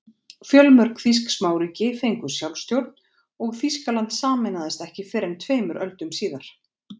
Fjölmörg þýsk smáríki fengu sjálfstjórn og Þýskaland sameinaðist ekki fyrr en tveimur öldum síðar.